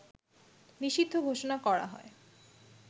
নিষিদ্ধ ঘোষণা করা হয়